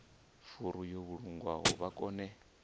furu yo vhulungwaho vha kone